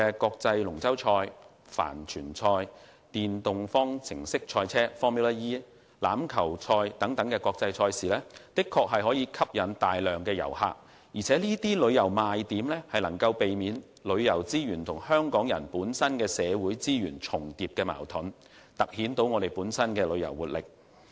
國際龍舟賽、帆船賽、電動方程式賽車、欖球賽等國際賽事的確可吸引大批旅客，而這些旅遊賣點能避免旅遊資源和港人社會資源重疊的矛盾，突顯香港的旅遊活力。